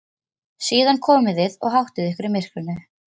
Síðan komið þið og háttið ykkur í myrkrinu.